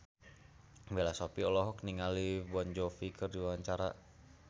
Bella Shofie olohok ningali Jon Bon Jovi keur diwawancara